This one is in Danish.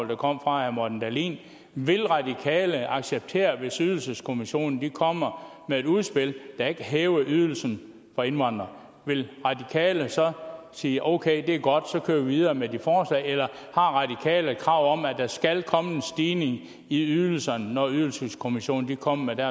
der kom fra herre morten dahlin vil radikale acceptere hvis ydelseskommissionen kommer med et udspil der ikke hæver ydelsen for indvandrere vil radikale så sige okay det er godt så kører vi videre med det forslag eller har radikale et krav om at der skal komme en stigning i ydelserne når ydelseskommissionen kommer med